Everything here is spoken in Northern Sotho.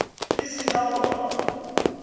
di se na go ba